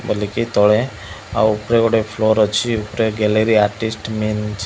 ତଳେ ଆଉ ଉପରେ ଗୋଟେ ଫ୍ଲୋର ଅଛି। ଉପରେ ଗ୍ୟାଲେରୀ ଆର୍ଟିଷ୍ଟ --